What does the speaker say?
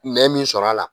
Nɛ min sɔrɔ a la